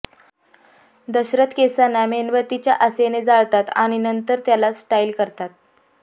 दशरथ केसांना मेणबत्तीच्या आसेने जाळतात आणि नंतर त्याला स्टाईल करतात